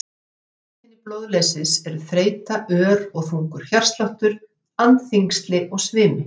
Helstu einkennin blóðleysis eru þreyta, ör eða þungur hjartsláttur, andþyngsli og svimi.